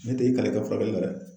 Ne te n kalen i ka furakɛli la dɛ.